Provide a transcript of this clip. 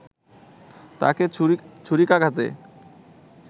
তাকে ছুরিকাঘাতে